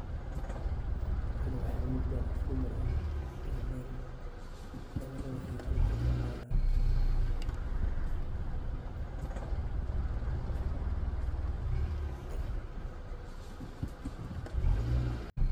Meshan waxaa igamauqda qof dumar ah cimiladha fican waqti kuqaadhanayo.